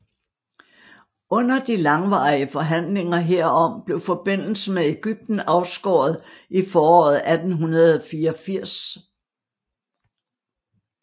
Under de langvarige forhandlinger herom blev forbindelsen med Egypten afskåret i foråret 1884